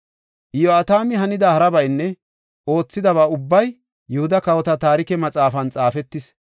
Iyo7atami hanida harabaynne oothidaba ubbay Yihuda Kawota Taarike Maxaafan xaafetis.